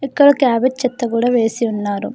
ఇక్కడ క్యాబేజ్ చెత్త కూడా వేసి ఉన్నారు.